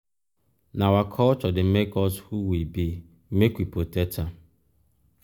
na our culture dey make us who we be make we protect am.